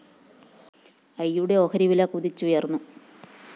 ഐയുടെ ഷെയർ വില കുതിച്ചുയര്‍ന്നു